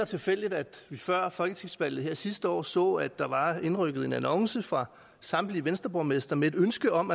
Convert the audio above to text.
tilfældigt at vi før folketingsvalget her sidste år så at der var indrykket annoncer fra samtlige venstreborgmestre med et ønske om